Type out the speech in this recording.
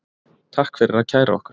Takk fyrir að kæra okkur